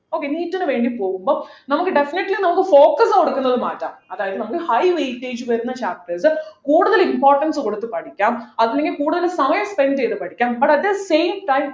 okayNEET നു വേണ്ടി പോകുമ്പോ നമുക്ക് definitely നമുക്ക് focus കൊടുക്കുന്നത് മാറ്റാം അതായത് നമുക്ക് high weightage വരുന്ന chapters കൂടുതൽ importance കൊടുത്ത് പഠിക്കാം അല്ലെങ്കിൽ കൂടുതൽ സമയം spend ചെയ്തു പഠിക്കാം but at the same time